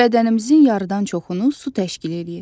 Bədənimizin yarıdan çoxunu su təşkil eləyir.